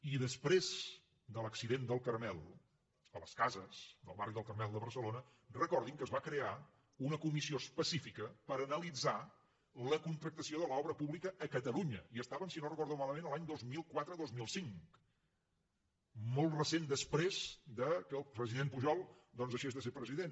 i després de l’accident del carmel a les cases del barri del carmel de barcelona recordin que es va crear una comissió específica per analitzar la contractació de l’obra pública a catalunya i estàvem si no recordo malament l’any dos mil quatre dos mil cinc molt recentment després que el president pujol doncs havia deixat de ser president